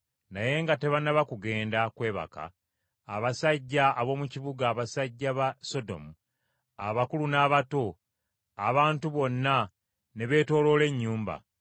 Naye nga tebannaba kugenda kwebaka, abasajja ab’omu kibuga, abasajja ba Sodomu, abakulu n’abato, abantu bonna ne beetooloola ennyumba;